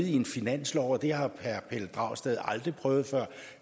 en finanslov og det har herre pelle dragsted aldrig prøvet før